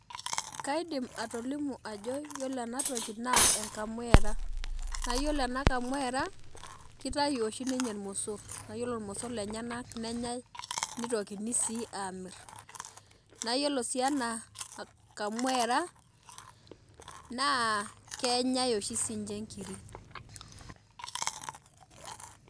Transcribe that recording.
Kaidim atolimu ajo yiolo enatoki na enkamuera, na yiolo enakamuera kitayu oshi ninnye irmosor na ore irmosor lenye nenyae nitokini si amir na iyiolo oshi ena kamuera na kenyae oshi sinye nkirik